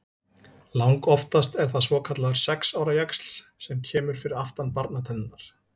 Langoftast er það svokallaður sex ára jaxl sem kemur fyrir aftan barnatennurnar.